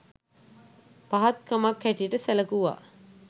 පහත් කමක් හැටියට සැලකුවා